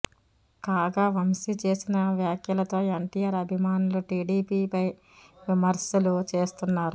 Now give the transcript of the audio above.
కాగా వంశీ చేసిన వ్యాఖ్యలతో ఎన్టీఆర్ అభిమానులు టీడీపీ పై విమర్శలు చేస్తున్నారు